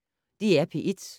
DR P1